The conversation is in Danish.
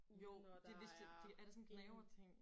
Jo det lige så er det sådan en gnaverting?